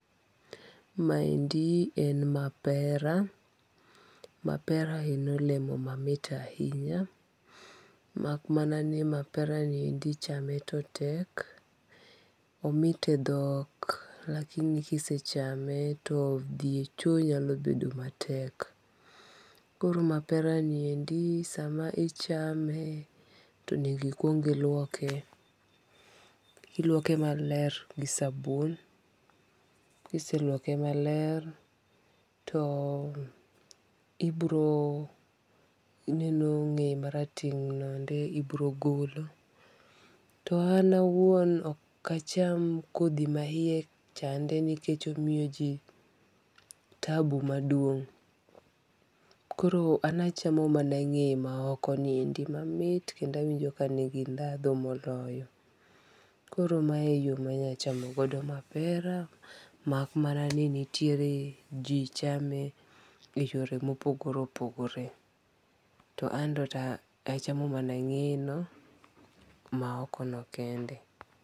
Ma endi en mapera, mapera en olemo ma mit ahinya mak mana ni mapera ni endi chame to tek omit e dhok lakini ki isechame to dhi e choo nyalo bedo ma tek. Koro mapera ni endi sa ma ichame to nyaka ikwong iluoke iluoke ma ler gi sabun, kiioselwoko maler to ibiro ineno ng'eye ma rateng' no endo ibiro golo. To an awuon okacham kodhi ma iye chande nikech omiyio ji taabu maduong' koro an achamo mana ng'eye ma oko ni endi ma mit kendo awinjo ka ni gi dhandhu moloyo. Koro mae e yo ma anyalo chamo godo mapera mak mana ni tiere ji chame e yore ma opogore opogore, to an to achamo mana ng'eye no ma oko no kende.